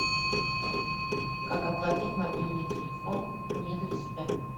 как оплатить мобильный телефон не для себя